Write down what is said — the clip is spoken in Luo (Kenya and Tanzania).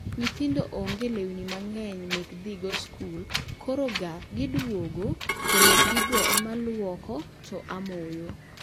Nyithindo onge lewni mang'eny mek dhi go skul, koro ga gidwogo, to lepgi go ema aluoko to amoyo